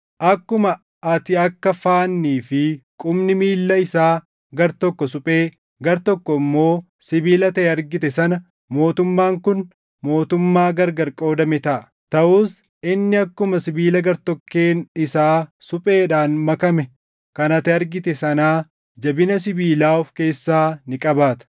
Akkuma ati akka faannii fi qubni miilla isaa gartokko suphee, gartokko immoo sibiila taʼe argite sana mootummaan kun mootummaa gargar qoodame taʼa; taʼus inni akkuma sibiila gartokkeen isaa supheedhaan makame kan ati argite sanaa jabina sibiilaa of keessaa ni qabaata.